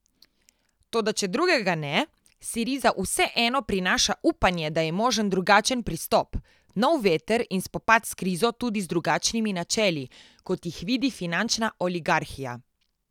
Toda če drugega ne, Siriza vseeno prinaša upanje, da je možen drugačen pristop, nov veter in spopad s krizo tudi z drugačnimi načeli, kot jih vidi finančna oligarhija.